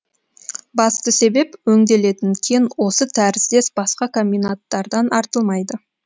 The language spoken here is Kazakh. басты себеп өңделетін кен осы тәріздес басқа комбинаттардан артылмайды